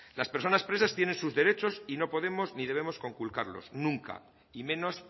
las personas presos tienen sus derechos y no podemos ni debemos conculcarlos nunca y menos